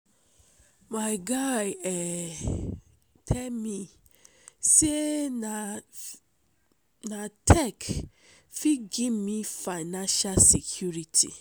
my guy um tell me say na na tech fit give me financial security